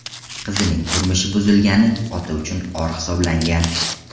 Qizining turmushi buzilgani ota uchun or hisoblangan.